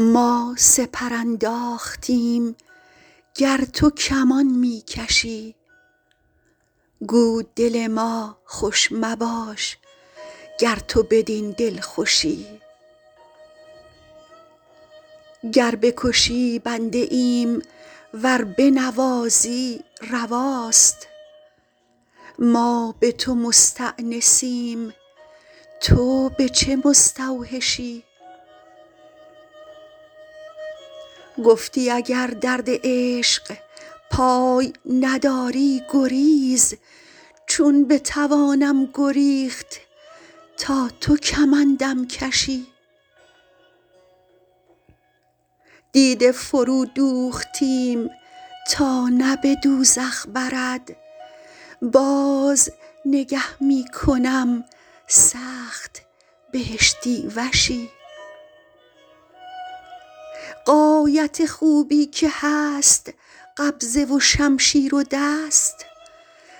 ما سپر انداختیم گر تو کمان می کشی گو دل ما خوش مباش گر تو بدین دلخوشی گر بکشی بنده ایم ور بنوازی رواست ما به تو مستأنسیم تو به چه مستوحشی گفتی اگر درد عشق پای نداری گریز چون بتوانم گریخت تا تو کمندم کشی دیده فرودوختیم تا نه به دوزخ برد باز نگه می کنم سخت بهشتی وشی غایت خوبی که هست قبضه و شمشیر و دست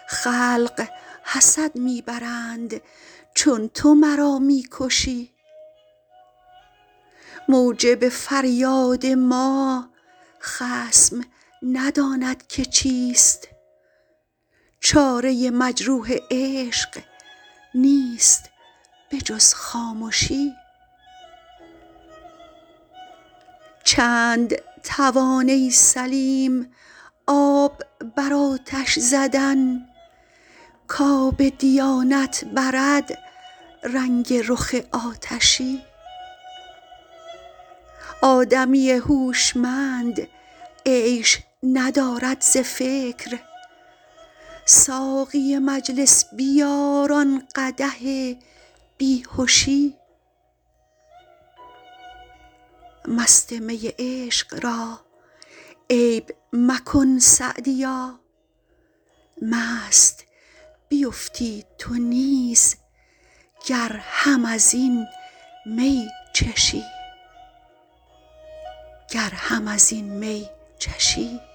خلق حسد می برند چون تو مرا می کشی موجب فریاد ما خصم نداند که چیست چاره مجروح عشق نیست به جز خامشی چند توان ای سلیم آب بر آتش زدن کآب دیانت برد رنگ رخ آتشی آدمی هوشمند عیش ندارد ز فکر ساقی مجلس بیار آن قدح بی هشی مست می عشق را عیب مکن سعدیا مست بیفتی تو نیز گر هم از این می چشی